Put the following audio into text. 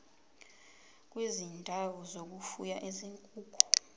kwezindawo zokufuya izinkukhu